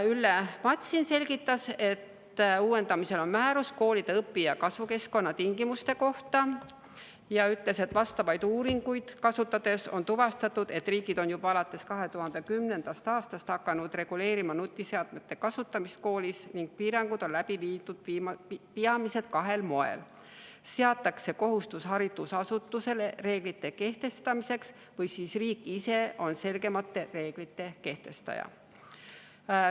Ülle Matsin selgitas, et uuendamisel on määrus koolide õpi‑ ja kasvukeskkonna tingimuste kohta, ning ütles, et vastavaid uuringuid kasutades on tuvastatud, et riigid on juba alates 2010. aastast hakanud reguleerima nutiseadmete kasutamist koolis ning piiranguid on seatud peamiselt kahel moel: kas on pandud haridusasutusele kohustus reeglid kehtestada või on riik ise selgemate reeglite kehtestaja.